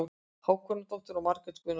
Hákonardóttir og Margrét Guðnadóttir.